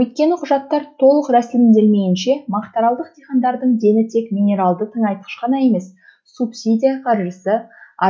өйткені құжаттар толық рәсімделмейінше мақтааралдық диқандардың дені тек минералды тыңайтқыш қана емес субсидия қаржысы